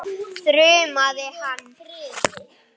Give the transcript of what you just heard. þrumaði hann.